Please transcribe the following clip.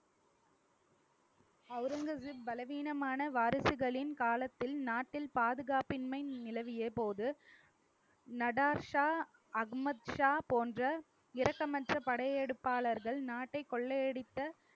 அவுரங்கசிப் பலவீனமான வாரிசுகளின் காலத்தில் நாட்டில் பாதுகாப்பின்மை நிலவிய போது நடாஷா அகமத் ஷா போன்ற இரக்கமற்ற படையெடுப்பாளர்கள் நாட்டை கொள்ளையடித்த